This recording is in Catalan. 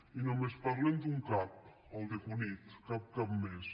i només parlen d’un cap el de cunit cap cap més